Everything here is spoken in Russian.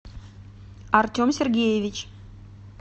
артем сергеевич